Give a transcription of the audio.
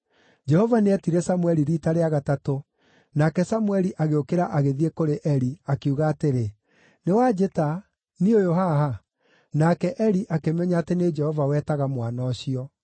Jehova nĩetire Samũeli riita rĩa gatatũ, nake Samũeli agĩũkĩra agĩthiĩ kũrĩ Eli, akiuga atĩrĩ, “Nĩ wanjĩta; niĩ ũyũ haha.” Nake Eli akĩmenya atĩ nĩ Jehova wetaga mwana ũcio.